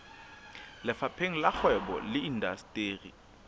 lefapheng la kgwebo le indasteri